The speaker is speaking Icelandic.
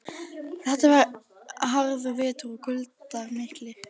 Þetta var harður vetur og kuldar miklir.